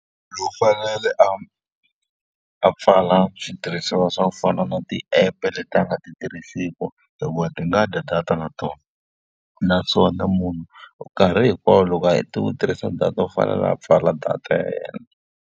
U fanele a a pfala switirhisiwa swa ku fana na tiepe leti a nga ti tirhisiki hikuva ti nga dya data na tona. Naswona munhu u nkarhi hinkwawo loko a heta ku tirhisa data u fanele a pfala data ya yena.